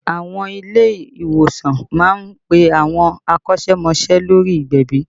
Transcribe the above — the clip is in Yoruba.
Àwọn ilé ìwòsàn má ń pe àwọn akọ́sẹ́mọsẹ́ lórí ìgbẹ̀bì